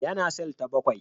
Yana cell ta bakwai.